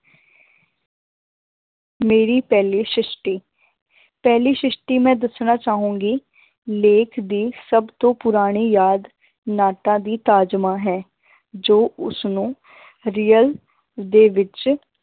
ਮੇਰੀ ਪਹਿਲੀ ਸਿਸ਼ਟੀ ਪਹਿਲੀ ਸਿਸ਼ਟੀ ਮੈਂ ਦੱਸਣਾ ਚਾਹਾਂਗੀ ਲੇਖ ਦੀ ਸਭ ਤੋਂ ਪੁਰਾਣੀ ਯਾਦ ਨਾਟਾਂ ਦੀ ਤਾਜਮਾਂ ਹੈ ਜੋ ਉਸਨੂੰ real ਦੇ ਵਿੱਚ